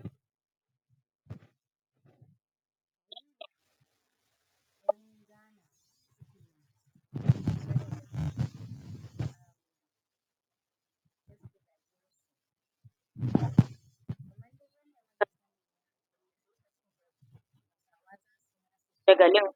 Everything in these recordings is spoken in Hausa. ? daga nan?????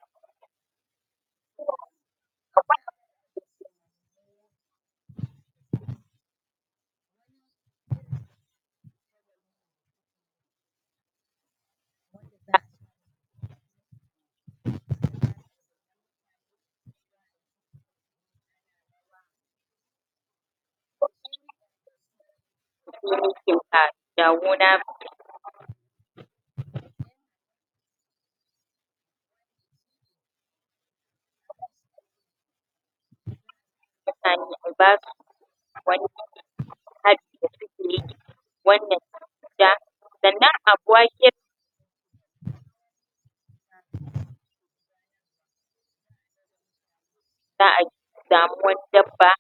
za a samu wani dabba?????